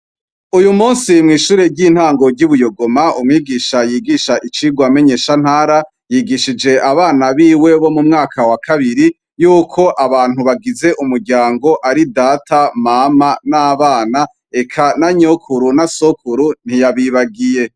Uyu musi mw'ishure ry'intango ryubuyogoma umwigisha yigisha icirwa menyeshantara yigishije abana biwe bo mumwaka wa kabiri yuko abantu bagize umuryango ari Data na Mama nabana eka na Sokuru na Nyokuru ntiyabibagiwe.